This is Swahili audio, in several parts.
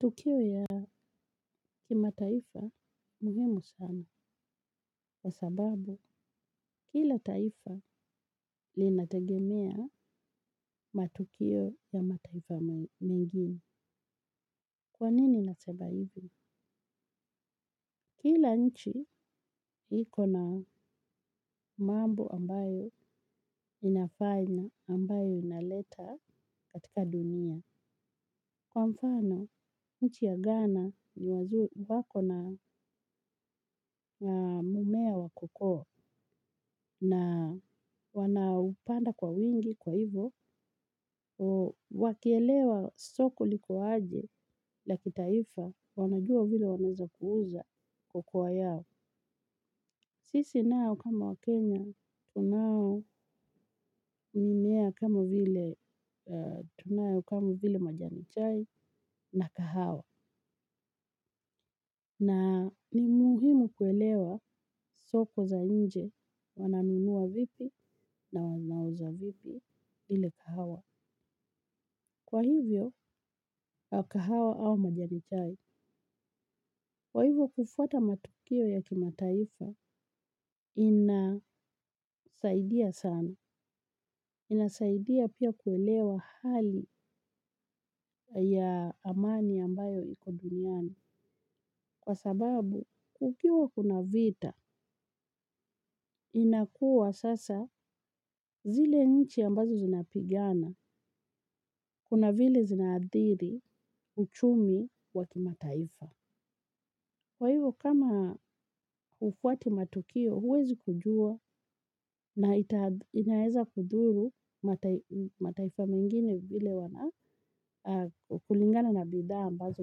Matukio ya kimataifa muhimu sana, kwa sababu kila taifa linategemea matukio ya mataifa mengine. Kwa nini nasema hivi? Kila nchi iko na mambo ambayo inafaa ina ambayo inaleta katika dunia. Kwa mfano, nchi ya ghana ni wako na mmea wa cocoa na wanaupanda kwa wingi kwa hivo, wakielewa soko liko aje la kitaifa, wanajua vile wanaeza kuuza cocoa yao. Sisi nao kama waKenya, tunao mimea kama vile, tunayo kama vile majani chai na kahawa. Na ni muhimu kuelewa soko za nje, wananunua vipi na wanauza vipi ile kahawa. Kwa hivyo, kwa kahawa au majani chai, kwa hivyo kufuata matukio ya kimataifa, inasaidia sana. Inasaidia pia kuelewa hali ya amani ambayo iko duniani. Kwa sababu, kukiwa kuna vita, inakuwa sasa zile nchi ambazo zinapigana, kuna vile zinaathiri, uchumi wa kimataifa. Kwaivo kama hufuati matukio huwezi kujua na ita inaeza kudhuru mataifa wengine vile wana kulingana na bidhaa ambazo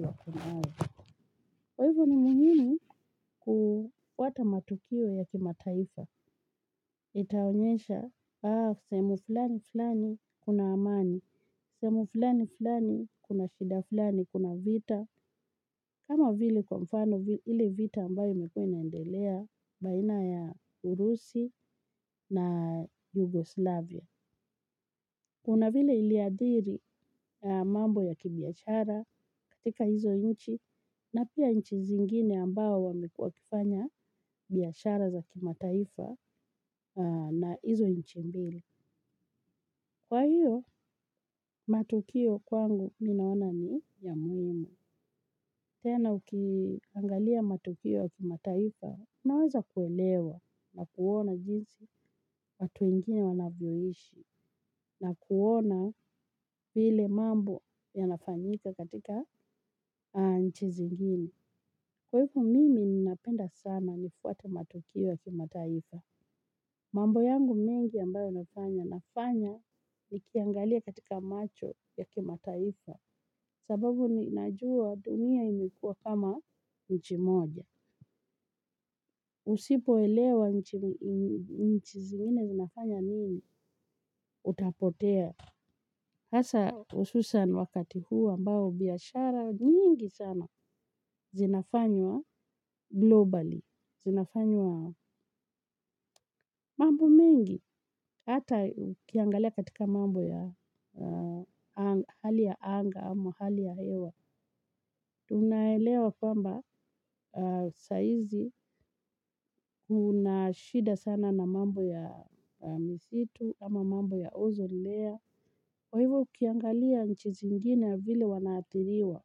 wako nayo kwaivo ni muhimu kufuata matukio ya kimataifa. Itaonyesha sehemu fulani fulani kuna amani. Sehemu fulani fulani kuna shida fulani kuna vita. Kama vile kwa mfano ile vita ambayo imekuwa inaendelea baina ya Urusi na Yugoslavia. Kuna vile iliadhiri mambo ya kibiashara katika izo nchi na pia watu zingine ambao wamekuwa wakifanya biashara za kimataifa na izo nchi mbili. Kwa hiyo, matukio kwangu mi naona ni ya muhimu. Tena ukiangalia matukio ya kimataifa, unaweza kuelewa na kuona jinsi watu wengine wanavyoishi na kuona vile mambo yanafanyika katika nchi zingine. Kwa hivyo mimi ninapenda sana nifuate matukio ya kimataifa. Mambo yangu mengi ambayo nafanya nafanya nikiangalia katika macho ya kimataifa sababu najua dunia imekuwa kama nchi moja. Usipoelewa nchi zingine zinafanya nini utapotea. Hasa hususan wakati huu ambao biashara nyingi sana zinafanywa globally. Zinafanywa mambo mengi. Hata ukiangalia katika mambo ya hali ya anga ama hali ya hewa. Tunaelewa kwamba saizi kuna shida sana na mambo ya misitu ama mambo ya ozone layer. Kwa hivyo ukiangalia nchi zingine vile wana athiriwa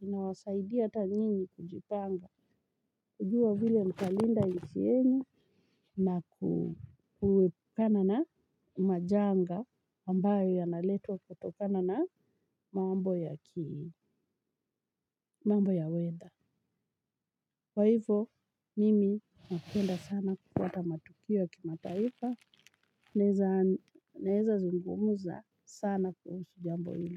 inawasaidia hata nyinyi kujipanga kujua vile mtalinda nchi yenye na kuepukana na majanga ambayo yanaletwa kutokana na mambo ya ki mambo ya weather. Kwa hivyo, mimi napenda sana kupata matukio ya kimataifa, naeza zungumza sana kuhusu jambo ilo.